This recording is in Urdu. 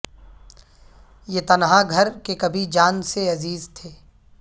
یہ تنہا گھر کہ کبھی جان سے عزیز تھے